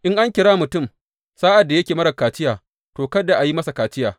In an kira mutum sa’ad da yake marar kaciya, to, kada a yi masa kaciya.